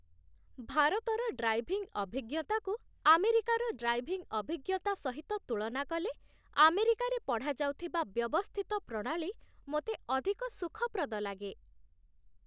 ଭାରତର ଡ୍ରାଇଭିଂ ଅଭିଜ୍ଞତାକୁ ଆମେରିକାର ଡ୍ରାଇଭିଂ ଅଭିଜ୍ଞତା ସହିତ ତୁଳନା କଲେ, ଆମେରିକାରେ ପଢ଼ାଯାଉଥିବା ବ୍ୟବସ୍ଥିତ ପ୍ରଣାଳୀ ମୋତେ ଅଧିକ ସୁଖପ୍ରଦ ଲାଗେ।